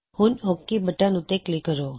ਹੁਣ okay button ਉੱਤੇ click ਕਰੋ